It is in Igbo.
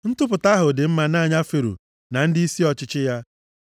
Ntụpụta ahụ dị mma nʼanya Fero na ndịisi ọchịchị ya.